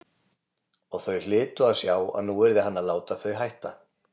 Og þau hlytu að sjá að nú yrði hann að láta þau hætta.